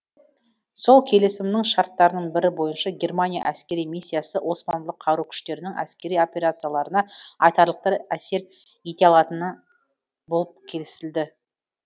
сол келісімнің шарттарының бірі бойынша германия әскери миссиясы османлы қару күштерінің әскери операцияларына айтарлықтай әсер ете алатын болып келісілді